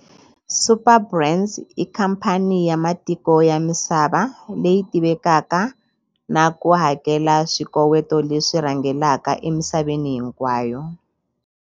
Superbrands i khamphani ya matiko ya misava leyi tivekaka na ku hakela swikoweto leswi rhangelaka emisaveni hinkwayo.